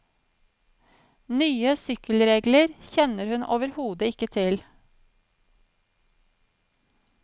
Nye sykkelregler kjenner hun overhodet ikke til.